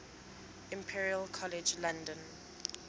imperial college london